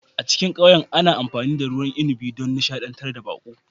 A cikin ƙauyen ana amfani da ruwan inabi don nishadantar da baƙo